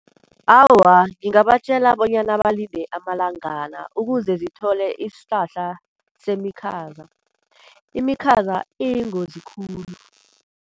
Awa, ngingabatjela bonyana balinde amalangana ukuze zithole isihlahla semikhaza. Imikhaza iyingozi khulu.